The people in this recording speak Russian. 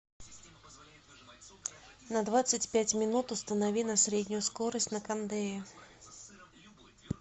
на двадцать пять минут установи на среднюю скорость на кондее